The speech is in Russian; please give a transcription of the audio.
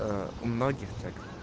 у многих